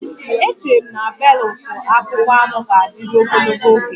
Echere m na beelutu akpụkpọ anụ ga-adịru ogologo oge